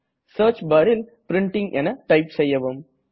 search barல் printing என type செய்யவும்